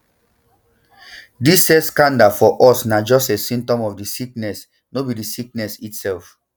dis sex scandal for us na just a symptom of di sicknes no be di sickness itself